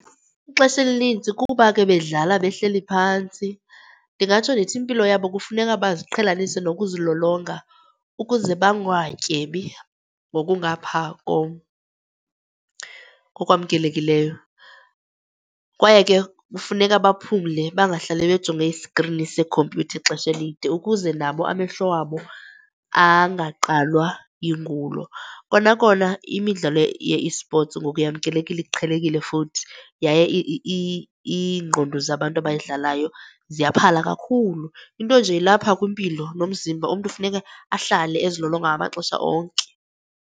Ixesha elinintsi kuba ke bedlala behleli phantsi, ndingatsho ndithi impilo yabo kufuneka baziqhelanise nokuzilolonga ukuze bangatyebi ngokungapha ngokwamkelekileyo. Kwaye ke kufuneka baphumle bangahlale bejonge isikrini sekhompyutha ixesha elide ukuze nabo amehlo wabo angaqalwa yingulo. Kona kona imidlalo ye-esports ngoku yamkelekile iqhelekile futhi yaye ingqondo zabantu abayidlalayo ziyaphala kakhulu. Into nje ilapha kwimpilo nomzimba, umntu funeke ahlale ezilolonga ngamaxesha onke.